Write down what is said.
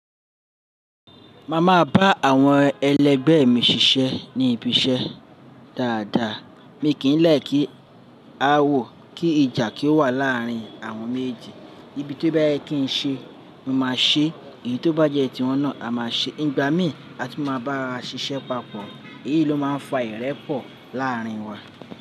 Máa máa bá àwọn ẹlẹgbẹ́ mi ṣiṣẹ́ ní ibi iṣẹ́ dáadáa, mi kì í lẹkí a wò kí ìjà kí ó wà láàrin àwọn méjeji. Ibi tí ó bá yẹ kí n ṣe, mo máa ṣe èyí tó bá jẹ́ tiwọn náà a máa ṣe. Nígbà mí àtu máa bára ṣiṣẹ́ papọ̀ èyí ló máa ń fa ìrẹ́pọ̀ láàrin wa.